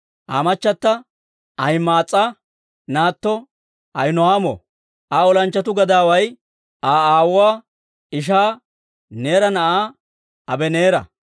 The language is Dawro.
Aa machata Ahima'aas'a naatto Ahino'aamo. Aa olanchchatuu gadaaway Aa aawuwaa ishaa Neera na'aa Abaneera.